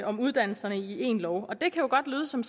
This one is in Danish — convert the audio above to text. om uddannelserne i en lov og det kan jo godt lyde som